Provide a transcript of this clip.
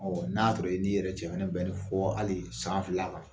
Ɔ n'a sɔrɔ i n'i yɛrɛ cɛ bɛnnen fɔ hali san fila la